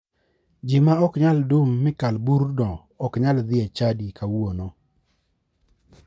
Ji ma ok nyal dum mi kal burno ok nyal dhi e chadi kawuono.